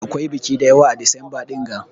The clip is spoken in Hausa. Akwai biƙi dayawa a disamba dinga.